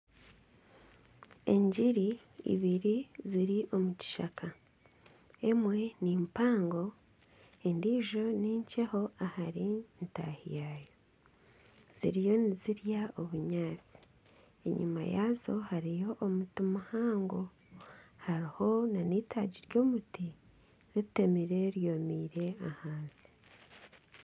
Engiri ibiri ziri omu kishaka emwe nimpango endiijo ninkyeho ahari ntaahi yaayo ziriyo nizirya obunyaatsi enyuma yaazo hariyo omuti muhango hariho na n'eitaagi ry'omuti riteemire ryomire ahansi.